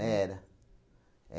Era.